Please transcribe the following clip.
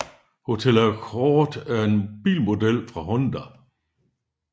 Honda Accord er en bilmodel fra Honda